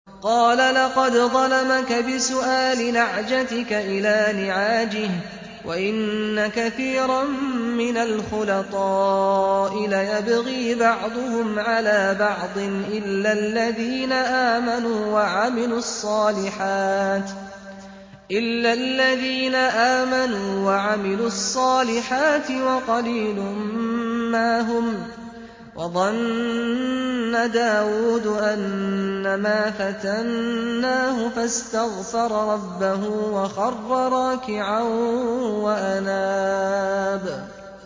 قَالَ لَقَدْ ظَلَمَكَ بِسُؤَالِ نَعْجَتِكَ إِلَىٰ نِعَاجِهِ ۖ وَإِنَّ كَثِيرًا مِّنَ الْخُلَطَاءِ لَيَبْغِي بَعْضُهُمْ عَلَىٰ بَعْضٍ إِلَّا الَّذِينَ آمَنُوا وَعَمِلُوا الصَّالِحَاتِ وَقَلِيلٌ مَّا هُمْ ۗ وَظَنَّ دَاوُودُ أَنَّمَا فَتَنَّاهُ فَاسْتَغْفَرَ رَبَّهُ وَخَرَّ رَاكِعًا وَأَنَابَ ۩